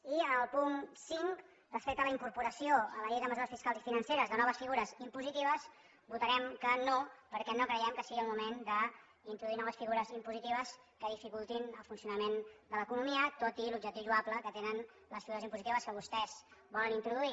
i en el punt cinc respecte a la incorporació a la llei de mesures fiscals i financeres de noves figures impositives votarem que no perquè no creiem que sigui el moment d’introduir noves figures impositives que dificultin el funcionament de l’economia tot i l’objectiu lloable que tenen les figures impositives que vostès poden introduir